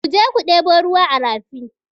Ku je ku ɗebo ruwa a rafi!